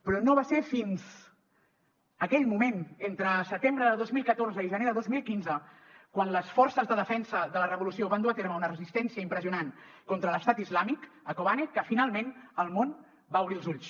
però no va ser fins aquell moment entre setembre de dos mil catorze i gener de dos mil quinze quan les forces de defensa de la revolució van dur a terme una resistència impressionant contra l’estat islàmic a kobane que finalment el món va obrir els ulls